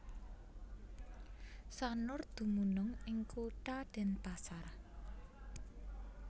Sanur dumunung ing Kutha Denpasar